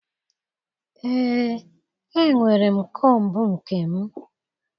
Ee, enwere m kombu nke m